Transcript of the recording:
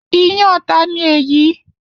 Iyán ta ni èyí?